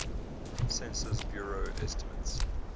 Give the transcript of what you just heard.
census bureau estimates